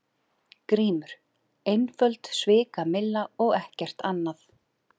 GRÍMUR: Einföld svikamylla og ekkert annað.